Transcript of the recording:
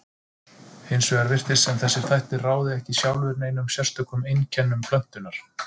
Hins vegar virtist sem þessir þættir ráði ekki sjálfir neinum sérstökum einkennum plöntunnar.